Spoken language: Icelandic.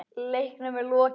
Leiknum er lokið.